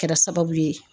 Kɛra sababu ye